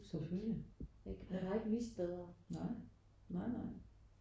Selvfølgelig ja nej nej nej